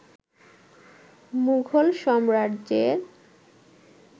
মুঘল সাম্রাজ্যের